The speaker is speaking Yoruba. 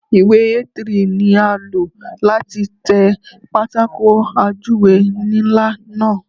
Ìwé A3 ni a lò láti tẹ pátákó ajúwe ńlá náà.